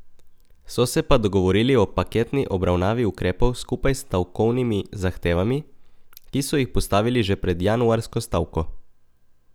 So se pa dogovorili o paketni obravnavi ukrepov skupaj s stavkovnimi zahtevami, ki so jih postavili že pred januarsko stavko.